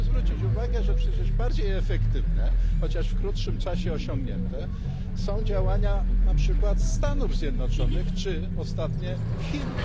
Proszę zwrócić uwagę, że przecież bardziej efektywne, chociaż w krótszym czasie osiągnięte, są działania na przykład Stanów Zjednoczonych czy ostatnio Chin.